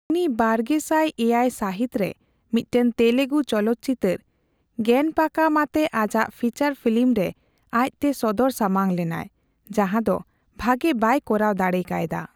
ᱩᱱᱤ ᱵᱟᱨᱜᱮᱥᱟᱭ ᱮᱭᱟᱭ ᱥᱟᱹᱦᱤᱛ ᱨᱮ ᱢᱤᱫᱴᱟᱝ ᱛᱮᱞᱮᱜᱩ ᱪᱚᱞᱚᱛ ᱪᱤᱛᱟᱹᱨ ᱜᱮᱱᱯᱟᱠᱟᱢ ᱟᱛᱮ ᱟᱡᱟᱜ ᱯᱷᱤᱪᱟᱨ ᱯᱷᱤᱞᱤᱢ ᱨᱮ ᱟᱡᱽᱛᱮ ᱥᱚᱫᱚᱨ ᱥᱟᱢᱟᱝ ᱞᱮᱱᱟᱭ, ᱡᱟᱦᱟᱸᱫᱚ ᱵᱷᱟᱜᱮ ᱵᱟᱭ ᱠᱚᱨᱟᱣ ᱫᱟᱲᱮ ᱠᱟᱭᱫᱟ ᱾